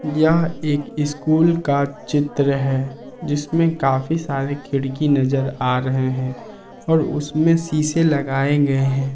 यह एक स्कूल का चित्र है जिसमें काफी सारे खिड़की नजर आ रहे हैं और उसमें शीशे लगाएं हैं।